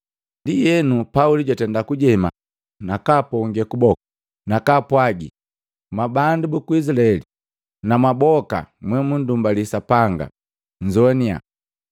Ndienu, Pauli jwatenda kujema nakaponge kuboku, nakaapwagi, “Mwabandu buku Izilaeli na mwaboka mwemundumbali Sapanga, nnzowania.